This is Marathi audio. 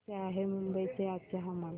कसे आहे मुंबई चे आजचे हवामान